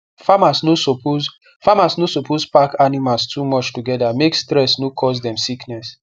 farmers no suppose farmers no suppose pack animals too much together make stress no cause dem sickness